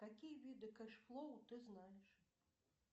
какие виды кэш флоу ты знаешь